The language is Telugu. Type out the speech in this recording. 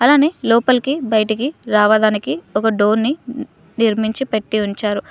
అలానే లోపలికి బయటికి రావడానికి ఒక డోర్ ని నిర్మించిపెట్టి ఉంచారు.